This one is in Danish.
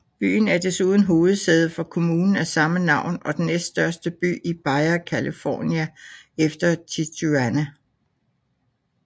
Byen er desuden hovedsæde for kommunen af samme navn og den næststørste by i Baja California efter Tijuana